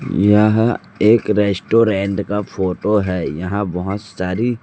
यह एक रेस्टोरेंट का फोटो है यहां बहोत सारी--